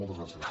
moltes gràcies